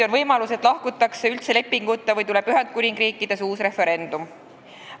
On võimalus, et lahkutakse üldse lepinguta või tuleb Ühendkuningriigis uus referendum.